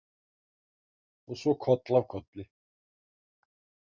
Og svo koll af kolli.